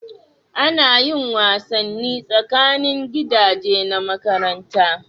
A na yin wasanni tsakanin gidaje na makaranta